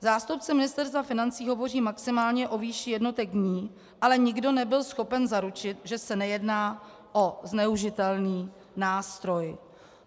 Zástupci Ministerstva financí hovoří maximálně o výši jednotek dní, ale nikdo nebyl schopen zaručit, že se nejedná o zneužitelný nástroj.